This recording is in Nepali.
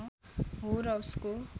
हो र उसको